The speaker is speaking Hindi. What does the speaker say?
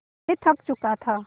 मैं थक चुका था